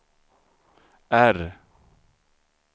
R